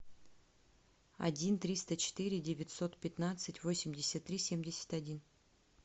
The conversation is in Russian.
один триста четыре девятьсот пятнадцать восемьдесят три семьдесят один